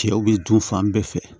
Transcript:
Cɛw bɛ dun fan bɛɛ fɛ